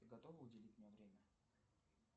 ты готова уделить мне время